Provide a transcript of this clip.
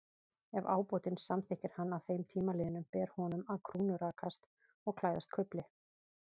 Ef ábótinn samþykkir hann að þeim tíma liðnum, ber honum að krúnurakast og klæðast kufli.